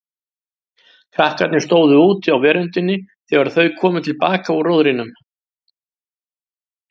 Krakkarnir stóðu úti á veröndinni þegar þau komu til baka úr róðrinum.